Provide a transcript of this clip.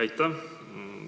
Aitäh!